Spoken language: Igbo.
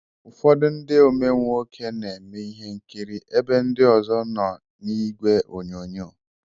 Ụfọdụ ndị omee nwoke na eme ihe nkiri ebe ndị ọzọ nọ n'igwe onyonyo.